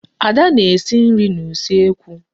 Ada na-esi nri n'usekwu.